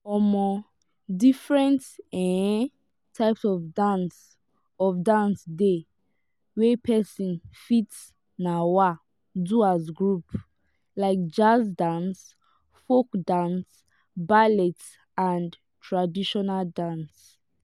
um different um types of dance of dance dey wey person fit um do as group like jazz dance folk dance ballet and traditional dance